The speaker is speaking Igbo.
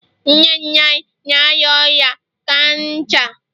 nne nne anyị na-arịa ọrịa kansa